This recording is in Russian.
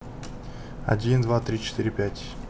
один два три четыре пять